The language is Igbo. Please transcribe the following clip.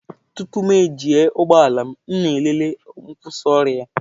Tupu m eji ụgbọ ala m, m na-elele nkwusioru ya.